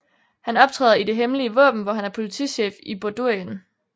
Han optræder i Det Hemmelige Våben hvor han er politichef i Bordurien